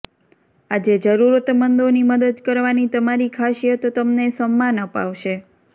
આજે જરૂરતમંદો ની મદદ કરવા ની તમારી ખાસિયત તમને સમ્માન અપાવશે